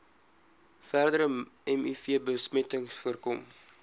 verdere mivbesmetting voorkom